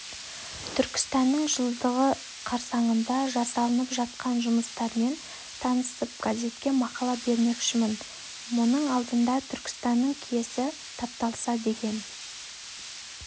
түркістанның жылдығы қарсаңында жасалынып жатқан жұмыстармен танысып газетке мақала бермекшімін мұның алдында түркістанның киесі тапталса деген